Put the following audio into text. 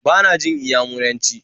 Ba na jin Inyamuranci